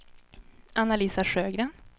Anna-Lisa Sjögren